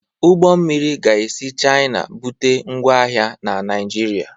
Ụgbọ mmiri ga-esi Chaina bute ngwa ahịa na Naijiria.